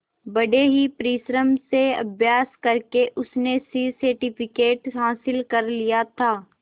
बड़े ही परिश्रम से अभ्यास करके उसने सी सर्टिफिकेट हासिल कर लिया था